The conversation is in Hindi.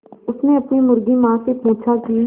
उसने अपनी मुर्गी माँ से पूछा की